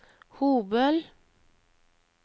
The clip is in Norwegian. Hobøl